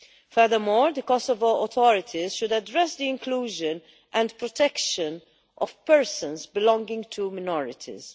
Furthermore, the Kosovo authorities should address the inclusion and protection of persons belonging to minorities.